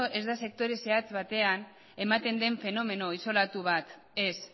ez da sektore zehatz batean ematen den fenomeno isolatu bat ez